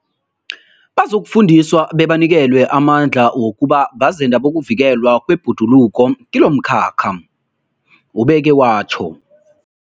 Bazokufundiswa bebanikelwe amandla wokuba bazenda bokuvikelwa kwebhoduluko kilomkhakha, ubeke watjho.